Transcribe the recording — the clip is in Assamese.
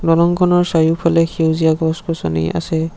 দলংখনৰ চাৰিওফালে সেউজীয়া গছ-গছনি আছে।